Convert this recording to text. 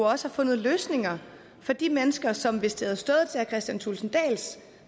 også har fundet løsninger for de mennesker som hvis det havde stået til herre kristian thulesen dahls